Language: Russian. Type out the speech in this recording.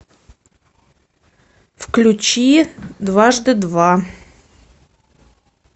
включи дважды два